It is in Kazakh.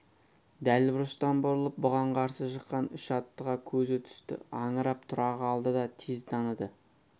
дәл бұрыштан бұрылып бұған қарсы шыққан үш аттыға көзі түсті аңырып тұра қалды да тез таныды